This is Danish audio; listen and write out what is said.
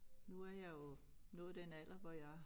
Nu er jeg jo nået den alder hvor jeg